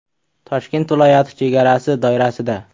Toshkent viloyati chegarasi doirasida.